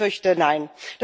Ich fürchte nein.